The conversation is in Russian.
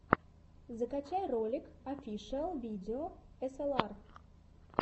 закачай ролик офишиал видео эсэлар